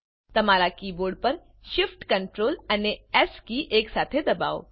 તમારા કીબોર્ડ પર Shift Ctrl અને એસ એકસાથે દબાવો